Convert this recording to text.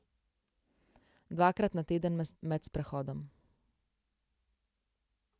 Dvakrat na teden med sprehodom.